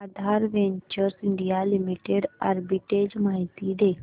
आधार ventures India limited arbitrage माहिती दे